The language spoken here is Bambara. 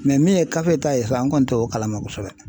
Mɛ min ye kafe ta ye sa n kɔni t'o kalama kosɛbɛ